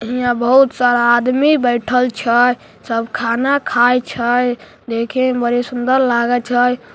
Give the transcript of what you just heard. हीया बहुत सारा आदमी बैठल छै सब खाना खाए छै देखे मे बड़ी सुंदर लागे छै।